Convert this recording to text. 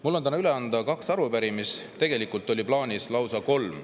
Mul on täna üle anda kaks arupärimist, tegelikult oli plaanis anda lausa kolm.